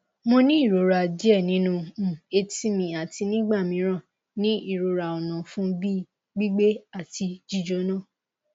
mo ni irora die ninu um eti mi ati nigbamiran ni irora onafun bi gbigbe ati jijona